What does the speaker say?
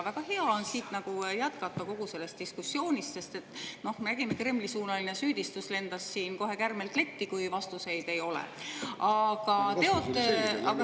Väga hea on siit jätkata, pärast kogu seda diskussiooni, sest me nägime, et Kremli-suunaline süüdistus lendas siin kohe kärmelt letti, kui vastust ei olnud.